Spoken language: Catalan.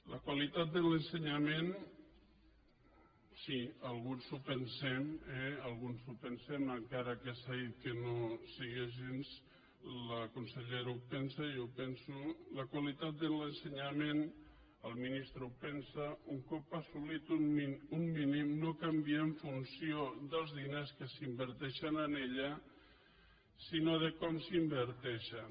la qualitat de l’ensenyament sí alguns ho pensem eh alguns ho pensem encara que s’ha dit que no sigui així la consellera ho pensa jo ho penso la qualitat de l’ensenyament el ministre ho pensa un cop assolit un mínim no canvia en funció dels diners que s’inverteixen en ella sinó de com s’hi inverteixen